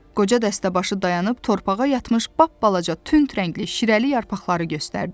Qoca dəstəbaşı dayanıb torpağa yatmış bapbalaca tünd rəngli şirəli yarpaqları göstərdi.